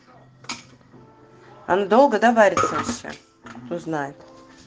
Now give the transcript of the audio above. он долго да варится все кто знает